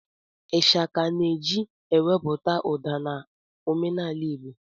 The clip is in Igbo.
Ịshaka na-eji ewepụta ụda na omenaala igbo